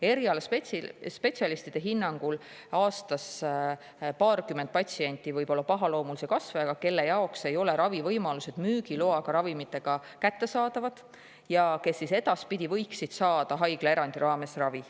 Erialaspetsialistide hinnangul on aastas paarkümmend patsienti, kellel võib olla pahaloomuline kasvaja ja kelle jaoks ei ole ravivõimalused, mille käigus kasutatakse müügiloaga ravimeid, kättesaadavad ja kes võiksid edaspidi saada ravi haiglaerandi raames.